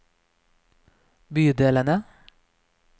bydelene